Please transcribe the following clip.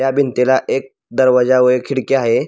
त्या भितीला एक दरवाजा व एक खिडकी आहे.